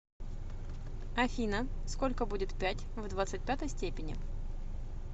афина сколько будет пять в двадцать пятой степени